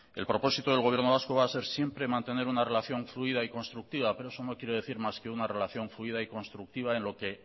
el propósito del gobierno vasco va a ser siempre mantener una relación fluida y constructiva pero eso no quiere decir más que una relación fluida y constructiva en lo que